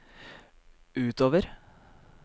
utover